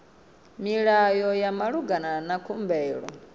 milayo ya malugana na khumbelo